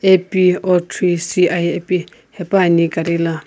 AP 03 ci ipi hepuani gari la.